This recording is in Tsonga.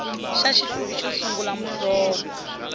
xa xihluvi xo sungula muhlovo